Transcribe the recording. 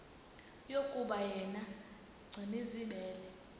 yokuba yena gcinizibele